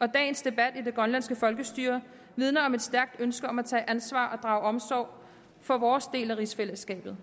og dagens debat i det grønlandske folkestyre vidner om et stærkt ønske om at tage ansvar og drage omsorg for vores del af rigsfællesskabet